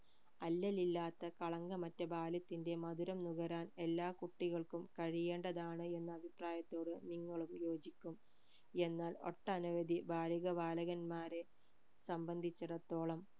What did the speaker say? അല്ലൽ ഇല്ലാത്ത കളങ്കമറ്റ ബാല്യത്തിന്റെ മധുരം നുകരാൻ എല്ലാ കുട്ടികൾക്കും കഴിയേണ്ടതാണ് എന്ന അഭിപ്രായത്തോട് നിങ്ങളും യോജിക്കും എന്നാൽ ഒട്ടനവധി ബാലിക ബാലകന്മാരെ സംബന്ധിച്ചെടത്തോളം